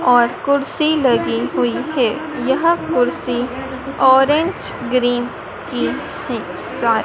और कुर्सी लगी हुई है यह कुर्सी ऑरेंज ग्रीन की है सा--